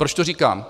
Proč to říkám?